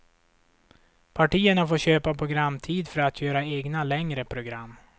Partierna får köpa programtid för att göra egna, längre program.